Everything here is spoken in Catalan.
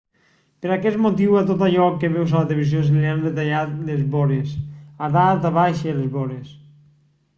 per aquest motiu a tot allò que veus a la tv se li han retallat les vores a dalt a baix i a les vores